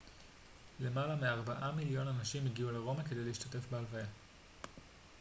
למעלה מארבעה מיליון אנשים הגיעו לרומא כדי להשתתף בהלוויה